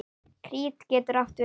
Krít getur átt við